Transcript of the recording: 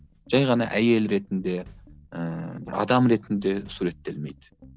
жай ғана әйел ретінде ыыы адам ретінде суреттелмейді